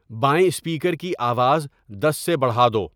بائیں اسپیکر کی آواز دس سےبڑھا دو